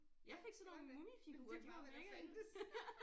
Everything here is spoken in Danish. Ja det var men det var hvad der fandtes